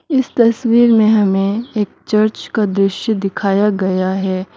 इस तस्वीर में हमें एक चर्च का दृश्य दिखाया गया है।